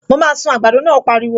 Mo máa sun àgbàdo náà, ó pariwo